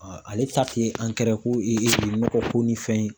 ale ta tɛ ko e nɔgɔko ni fɛn ye